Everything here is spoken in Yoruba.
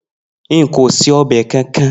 Nko se obe kankan.